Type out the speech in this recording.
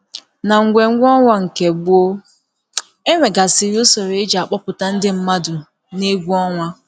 N’egwè̩mgwè̩ ọnwa nke gbọ̀ọ, e nwegasịrị usoro e ji akpọ̀pụ̀ta ndị mmadụ n’egwù ọnwa.